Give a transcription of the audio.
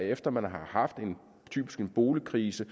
efter man har haft en boligkrise